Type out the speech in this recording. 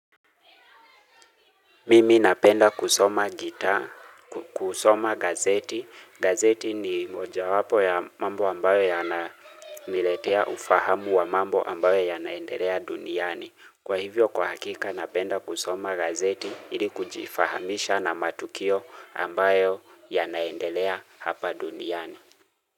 Mimi napenda kusoma gita, kusoma gazeti. Gazeti ni mojawapo ya mambo ambayo ya na niletea ufahamu wa mambo ambayo ya naendelea duniani. Kwa hivyo kwa hakika napenda kusoma gazeti ili kujifahamisha na matukio ambayo yanaendelea hapa duniani.